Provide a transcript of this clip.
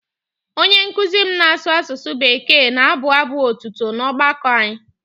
Onye nkụzi m na-asụ Bekee na-abụ abụ̀ otuto na ọgbakọ anyị.